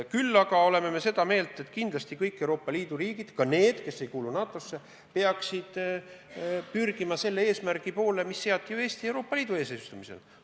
Samas me oleme seda meelt, et kindlasti kõik Euroopa Liidu riigid – ka need, mis ei kuulu NATO-sse – peaksid pürgima selle eesmärgi poole, mis seati Eesti Euroopa Liidu eesistumisel.